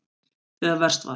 Þegar verst var.